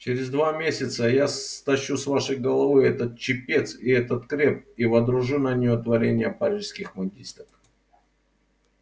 через два месяца я стащу с вашей головы этот чепец и этот креп и водружу на неё творение парижских мундистов